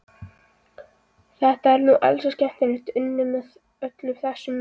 Þetta er nú ansi skemmtilega unnið, með öllum þessum myndum.